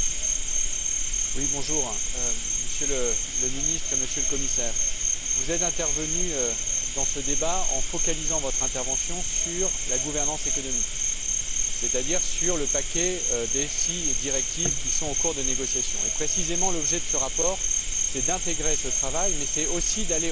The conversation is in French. Monsieur le Président, Monsieur le Premier ministre, Monsieur le Commissaire, vous êtes intervenus dans ce débat en focalisant votre intervention sur la gouvernance économique, c'est à dire sur le paquet de six directives qui sont en cours de négociation. Précisément, l'objet de ce rapport est d'intégrer ce travail mais c'est, aussi, d'aller au delà.